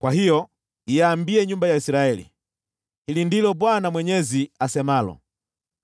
“Kwa hiyo iambie nyumba ya Israeli, ‘Hili ndilo Bwana Mwenyezi asemalo: